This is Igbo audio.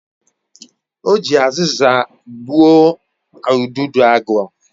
O ji aziza gbuo udidoagu